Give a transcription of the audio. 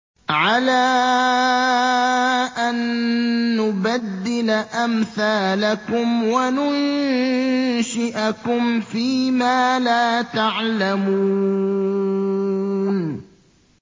عَلَىٰ أَن نُّبَدِّلَ أَمْثَالَكُمْ وَنُنشِئَكُمْ فِي مَا لَا تَعْلَمُونَ